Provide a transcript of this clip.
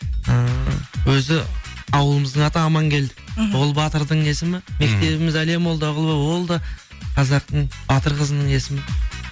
ыыы өзі ауылымыздың аты амангелді мхм ол батырдың есімі мектебіміз әлия молдағұлова ол да қазақтың батыр қызының есімі